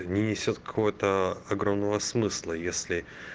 не несёт какого-то огромного смысла если